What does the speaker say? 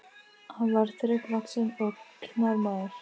Hann var þrekvaxinn og knár maður.